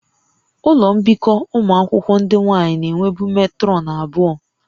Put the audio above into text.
Ụlọ mbikọ ụmụ akwụkwọ ndị nwaanyị na-enwebu metrọnụ abụọ